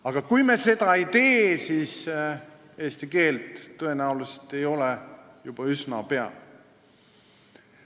Aga kui me seda ei tee, siis eesti keelt tõenäoliselt ei ole juba üsna pea.